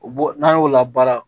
O bɔ n'an y'o labaara